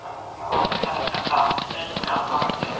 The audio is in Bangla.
আঁ আঁ এবং এখানে একটি ডাস্টবিন রাখা আছে।